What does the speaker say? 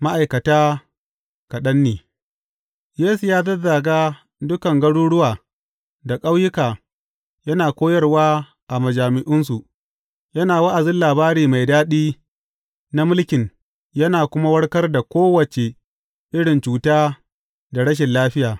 Ma’aikata kaɗan ne Yesu ya zazzaga dukan garuruwa da ƙauyuka, yana koyarwa a majami’unsu, yana wa’azin labari mai daɗi na mulkin yana kuma warkar da kowace irin cuta da rashin lafiya.